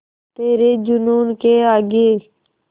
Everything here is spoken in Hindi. तेरे जूनून के आगे